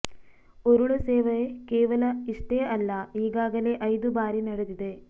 ಉರುಳು ಸೇವೆ ಕೇವಲ ಇಷ್ಟೇ ಅಲ್ಲ ಈಗಾಗಲೇ ಐದು ಬಾರಿ ನಡೆದಿದೆ